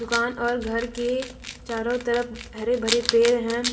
दुकान और घर के चारों तरफ हरे भरे पेड़ हैं।